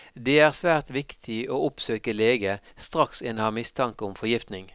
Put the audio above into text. Det er svært viktig å oppsøke lege straks en har mistanke om forgiftning.